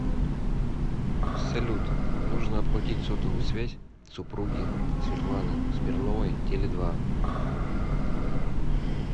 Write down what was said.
салют нужно оплатить сотовую связь супруги светланы смирновой теле два